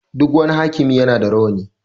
Duk wani hakimi ya na da rawani